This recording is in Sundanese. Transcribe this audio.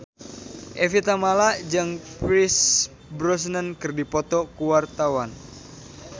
Evie Tamala jeung Pierce Brosnan keur dipoto ku wartawan